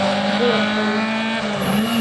горохове